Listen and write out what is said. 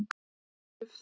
Dufþakur